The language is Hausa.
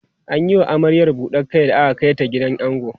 an Yi wa amaryar buɗar Kai da aka Kai ta gidan ango